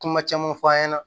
Kuma caman fɔ an ɲɛna